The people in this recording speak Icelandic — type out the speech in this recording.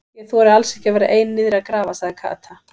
Ég þori alls ekki að vera ein niðri að grafa sagði Kata.